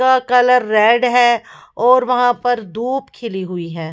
क colour red हैं और वहाँ पर धूप खिली हुई हैं।